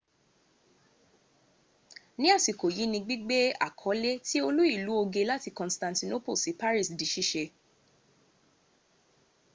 ní àsìkò yí ní gbígbé àkọlé tí olú ìlú oge láti constantinople sí paris di sísẹ